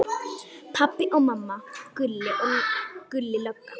Pabbi og mamma, Gulli lögga.